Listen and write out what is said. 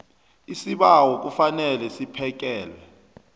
isibawo kufanele siphekelwe